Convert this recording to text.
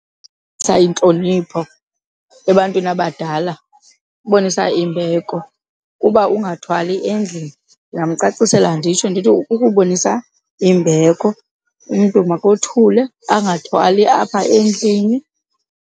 intlonipho ebantwini abadala, kubonisa imbeko uba ungathwali endlini. Ndingamcacisela nditsho ndithi, kukubonisa imbeko umntu makothule angathwali apha endlini.